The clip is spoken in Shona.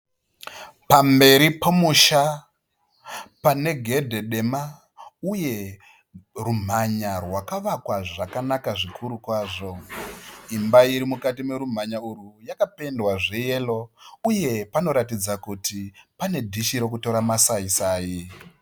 Pamberi pomusha pane gedhe dema uye rumhanya rwakavakwa zvakanaka. Imba iri mukati merumhanya urwu yakapendwa zveyero uye panoratidza kuti pane dhishi rokutora masaisai.